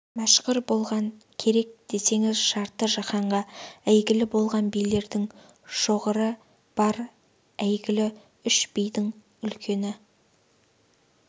мәшһүр болған керек десеңіз жарты жаһанға әйгілі болған билердің шоғыры бар әйгілі үш бидің үлкені